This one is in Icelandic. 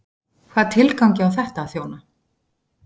Hvaða tilgangi á þetta að þjóna?